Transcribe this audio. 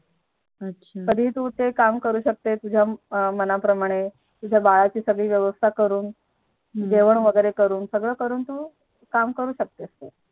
अच्छा कधी तू काम करू शकते तुझ्या मना प्रमाणे तुझ्या बाळाची सगळी व्यवस्था करून हम्म जेवण वैगेरे करून सगळं करून काम करू शकतेस तू